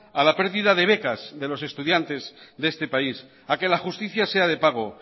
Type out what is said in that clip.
a la pérdida de becas de los estudiantes de este país a que la justicia sea de pago